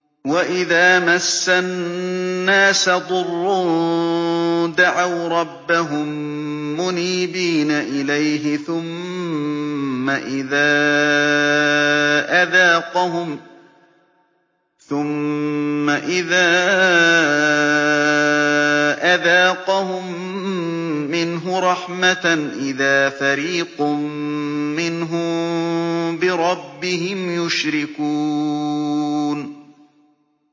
وَإِذَا مَسَّ النَّاسَ ضُرٌّ دَعَوْا رَبَّهُم مُّنِيبِينَ إِلَيْهِ ثُمَّ إِذَا أَذَاقَهُم مِّنْهُ رَحْمَةً إِذَا فَرِيقٌ مِّنْهُم بِرَبِّهِمْ يُشْرِكُونَ